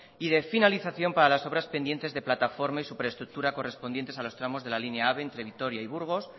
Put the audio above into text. y de finalización para las obras pendientes de plataforma y super estructura correspondientes a los tramos de la línea ave entre vitoria y burgos